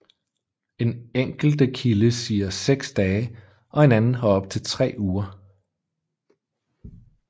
En enkelte kilde siger 6 dage og en anden har op til 3 uger